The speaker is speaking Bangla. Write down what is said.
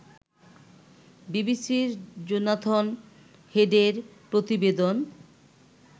বিবিসির জোনাথন হেডের প্রতিবেদন